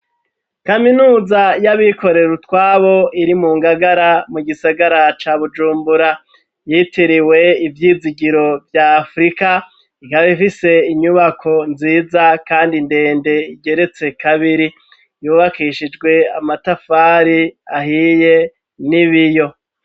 Kaminuza y'abikorera utwabo, iri mu ngagara, mu gisagara ca bujumbura, yitiriwe ivyizigiro vya afurika, ikaba ifise inyubako nziza, kandi ndende igeretse kabiri ,yubakishijwe amatafari ahiye n'ibiyo.